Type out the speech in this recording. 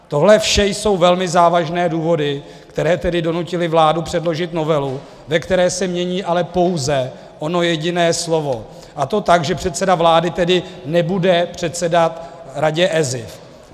Tohle vše jsou velmi závažné důvody, které tedy donutily vládu předložit novelu, ve které se mění ale pouze ono jediné slovo, a to tak, že předseda vlády tedy nebude předsedat Radě ESIF.